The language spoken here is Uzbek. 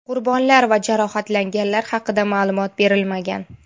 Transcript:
Qurbonlar va jarohatlanganlar haqida ma’lumot berilmagan.